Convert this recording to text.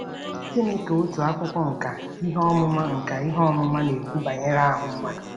Gịnị ka otu akwụkwọ nkà ihe ọmụma nkà ihe ọmụma na-ekwu banyere ahụ mmadụ?